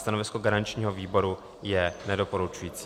Stanovisko garančního výboru je nedoporučující.